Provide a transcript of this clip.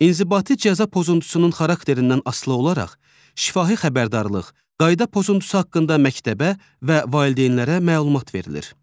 İnzibati cəza pozuntusunun xarakterindən asılı olaraq şifahi xəbərdarlıq, qayda pozuntusu haqqında məktəbə və valideynlərə məlumat verilir.